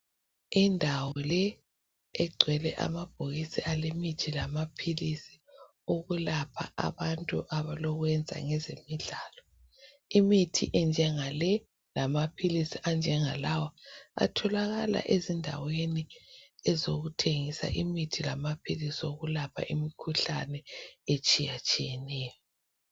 Indawo le egcwele amabhokisi alemithi lamaphilisi okulapha abantu abalokwenza ngezemidlalo imithi enjenga le lamaphilisi anjengalawa atholalakala ezindaweni ezokuthengisa imithi lamaphilisi okulapha imikhuhlane etshiyatshiyeneyo.